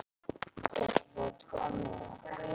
Ég ætla að fá tvo miða.